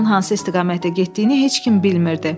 Onun hansı istiqamətə getdiyini heç kim bilmirdi.